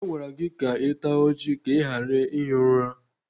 A gwara gị ka ị taa ọjị ka ị ghara ihi ụra?